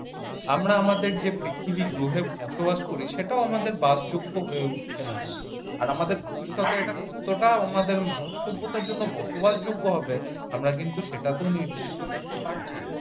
আমরা আমাদের যে পৃথিবীর গ্রহে বসবাস করি সেটাও আমাদের বাসযোগ্য হয়ে উঠছে না আর আমাদের ভবিষ্যতের এটা কতটা উনাদের মানবসভ্যতার জন্য বসবাসযোগ্য হবে আমরা কিন্তু সেটা তো নির্ধারিত করতে পারছিনা।